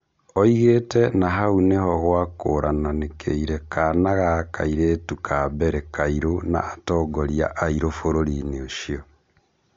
Oigĩte "na hau nĩho gwakũrananĩkire kana ga kairĩtu ka mbere kairũ na atongoria airũ bũrũri-inĩ ũcio "